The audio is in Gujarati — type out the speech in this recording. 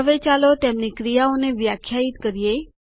હવે ચાલો તેમની ક્રિયાઓને વ્યાખ્યાયિત કરો